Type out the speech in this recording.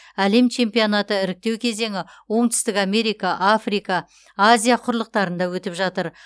әлем чемпионаты іріктеу кезеңі оңтүстік америка африка азия құрлықтарында өтіп жатыр